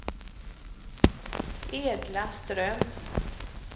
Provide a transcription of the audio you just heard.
Edla Ström